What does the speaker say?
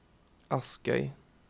Askøy